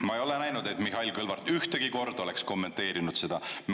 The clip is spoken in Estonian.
Ma ei ole näinud, et Mihhail Kõlvart ühtegi korda oleks kommenteerinud seda.